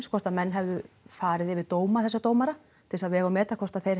hvort menn hefðu farið yfir dóma þessara dómara til að vega og meta hvort þeir